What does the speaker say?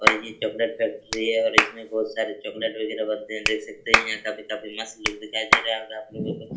और ये chocolate factory है और इसमे बहुत सारे चॉकलेट वगैरा बनते हैं देख सकते है यहां काफी मस्त लुक दिखाई दे रहा होगा आपलोगो को --